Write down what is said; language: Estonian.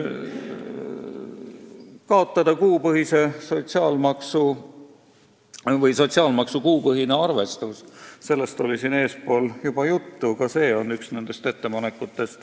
Üks ettepanek oli kaotada sotsiaalmaksu kuupõhine arvestus, sellest oli täna juba juttu.